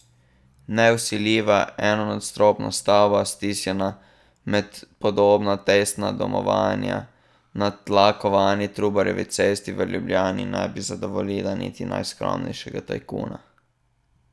Nevsiljiva enonadstropna stavba, stisnjena med podobna tesna domovanja na tlakovani Trubarjevi cesti v Ljubljani, ne bi zadovoljila niti najskromnejšega tajkuna.